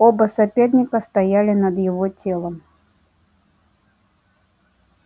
оба соперника стояли над его телом